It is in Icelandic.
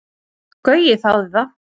Gaui þáði það.